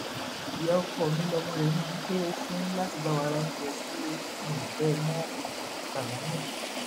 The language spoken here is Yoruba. ìyá ọkọ mi lọmọ rẹ máa ń kọwò fún láti bá wa ra oúnjẹ sílé mi ò fẹ ẹ mọsálámótù